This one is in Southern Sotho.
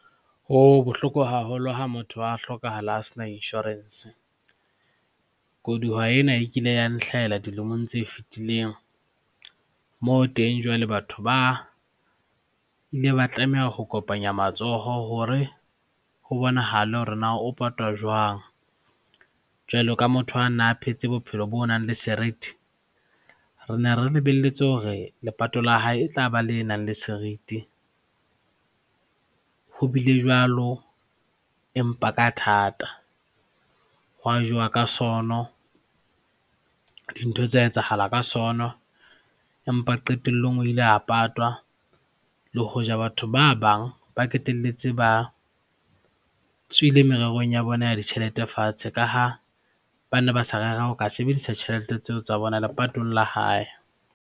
Ho bohloko haholo ha motho wa hlokahala a sena insurance. Koduwa ena e kile ya nhlahela dilemong tse fitileng moo teng jwale batho ba ile ba tlameha ho kopanya matsoho hore ho bonahale hore na o patwa jwang jwalo ka motho a na phetse bophelo bo nang le serithi, re ne re lebelletse hore lepato la hae e tlaba le nang le serithi. Ho bile jwalo, empa ka thata ho a jewa ka sono, dintho tsa etsahala ka sono empa qetelllong o ile a patwa le hoja batho ba bang ba qetelletse ba tswile mererong ya bona ya ditjhelete fatshe ka ha ba ne ba sa rera ho ka sebedisa tjhelete tseo tsa bona lepatong la hae.